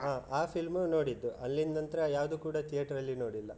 ಆ film ನೋಡಿದ್ದು ಅಲ್ಲಿನ್ದನಂತ್ರ ಯಾವುದು ಕೂಡ theater ಅಲ್ಲಿ ನೋಡ್ಲಿಲ್ಲ.